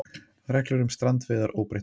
Reglur um strandveiðar óbreyttar